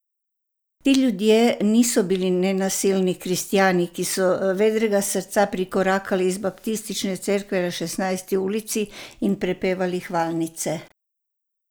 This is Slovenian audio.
Ti ljudje niso bili nenasilni kristjani, ki so vedrega srca prikorakali iz baptistične cerkve na Šestnajsti ulici in prepevali hvalnice.